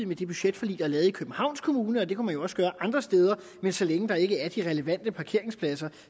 med det budgetforlig der er lavet i københavns kommune og det kunne de jo også gøre andre steder men så længe der ikke er de relevante parkeringspladser